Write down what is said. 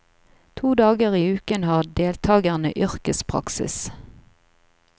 To dager i uken har deltagerne yrkespraksis.